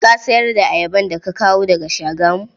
Ka sayar ayaba da kawo daga Shagamu?